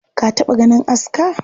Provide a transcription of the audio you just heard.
Ka taɓa ganin aska?